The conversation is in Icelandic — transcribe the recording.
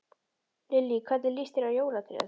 Lillý: Hvernig lýst þér á jólatréð?